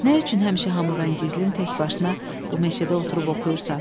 Nə üçün həmişə hamıdan gizlin təkbaşına bu meşədə oturub oxuyursan?